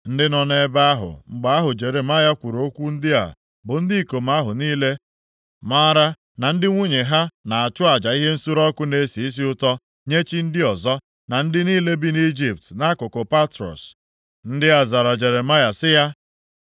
Ndị nọ nʼebe ahụ mgbe ahụ Jeremaya kwuru okwu ndị a bụ ndị ikom ahụ niile maara na ndị nwunye ha na-achụ aja ihe nsure ọkụ na-esi isi ụtọ nye chi ndị ọzọ, na ndị niile bi nʼIjipt nʼakụkụ Patros. Ndị a zara Jeremaya sị ya,